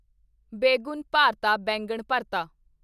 begun bharta baingan ਭਰਤਾ